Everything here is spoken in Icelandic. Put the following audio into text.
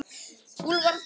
Úlfar Steinn.